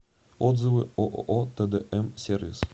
отзывы ооо тдм сервис